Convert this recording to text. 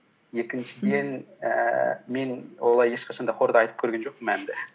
екіншіден ііі мен олай ешқашан да хорда айтып көрген жоқпын әнді